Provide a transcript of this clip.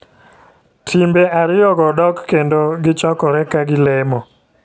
Timbe ariyo go dok kendo gichokore ka gilemo